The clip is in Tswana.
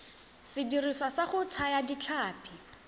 sediriswa sa go thaya ditlhapi